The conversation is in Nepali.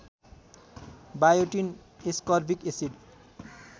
biotin ascorbic acid